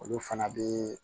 Olu fana bɛ